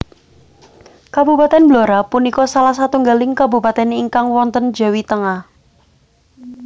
Kabupatèn Blora punika salah satunggaling kabupatèn ingkang wonten Jawi Tengah